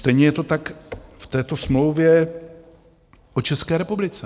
Stejně je to tak v této smlouvě o České republice.